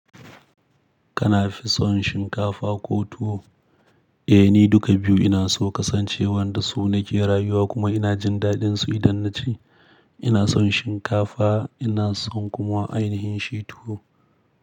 Kana fi son shinkafa ko tuwo? Eh, ni duka biyu ina so kasancewar da su nake rayuwa kuma ina jin daɗinsu idan na ci. Ina son shinkafa ina son kuma ainihin shi tuwo.